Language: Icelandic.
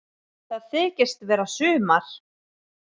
Það þykist vera sumar.